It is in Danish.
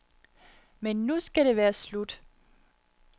Men nu skal det være slut.